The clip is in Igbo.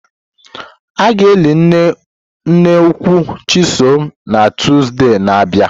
A ga-eli nne nkwụ Chisom na Tọzdee na abia.